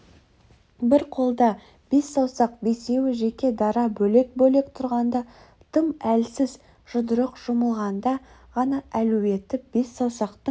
бір қолда бес саусақ бесеуі жеке-дара бөлек-бөлек тұрғанда тым әлсіз жұдырық жұмылғанда ғана әлуетті бес саусақтың